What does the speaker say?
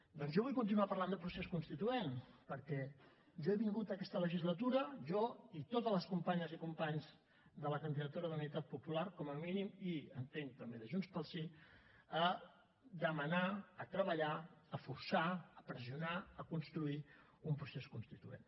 doncs jo vull continuar parlant de procés constituent perquè jo he vingut aquesta legislatura jo i totes les companyes i companys de la candidatura d’unitat popular com a mínim i entenc també de junts pel sí a demanar a treballar a forçar a pressionar a construir un procés constituent